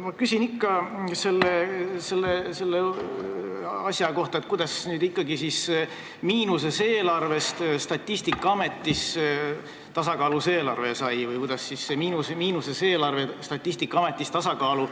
Ma küsin ikka selle asja kohta, et kuidas miinuses eelarvest Statistikaametis tasakaalus eelarve sai või kuidas see miinuses eelarve Statistikaametis tasakaalu